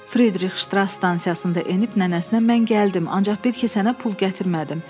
Fridrix Ştras stansiyasında enib nənəsinə mən gəldim, ancaq bil ki, sənə pul gətirmədim.